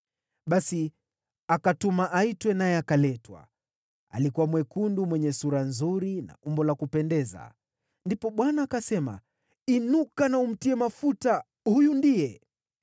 Basi akatuma aitwe naye akaletwa. Alikuwa mwekundu, mwenye sura nzuri na umbo la kupendeza. Ndipo Bwana akasema, “Inuka na umtie mafuta, huyu ndiye.”